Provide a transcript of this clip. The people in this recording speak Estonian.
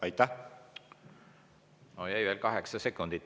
On jäänud veel üle kaheksa sekundit.